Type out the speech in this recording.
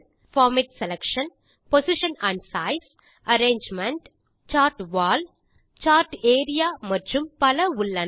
format selection position and size arrangement chart wall chart area மற்றும் பல உள்ளன